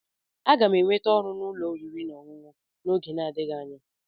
Aga m enweta ọrụ n'ụlọ oriri na ọṅụṅụ n'oge na-adịghị anya.